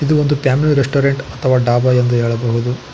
ಇದು ಒಂದು family restaurant ಅಥವಾ ಡಾಬಾ ಎಂದು ಹೇಳಬಹುದು.